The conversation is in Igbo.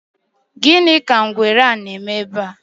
gini ka ngwere a na-eme ebe a?